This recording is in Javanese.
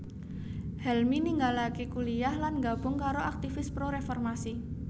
Helmy ninggalaké kuliyah lan nggabung karo aktivis pro reformasi